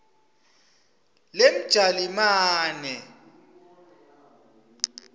lemjalimane